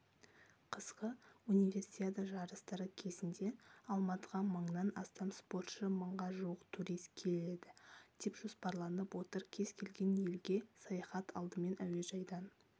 қысқы универсиада жарыстары кезінде алматыға мыңнан астам спортшы мыңға жуық турист келеді деп жоспарланып отыр кез келген елге саяхат алдымен әуежайдан